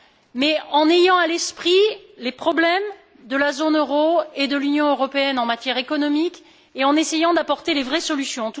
mais en ayant à l'esprit les problèmes de la zone euro et de l'Union européenne en matière économique et en essayant d'apporter les vraies solutions.